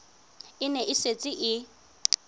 e ne e setse e